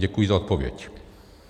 Děkuji za odpověď.